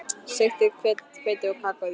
Sigtið hveitið og kakóið í skál.